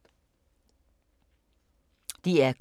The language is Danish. DR K